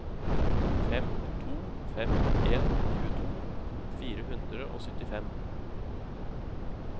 fem to fem en tjueto fire hundre og syttifem